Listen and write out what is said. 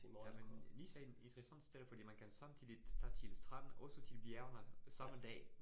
Ja men Nice er en interessant sted fordi man kan samtidigt tage til stranden, også til bjergene samme dag